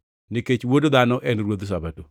Nikech Wuod Dhano en Ruodh Sabato.”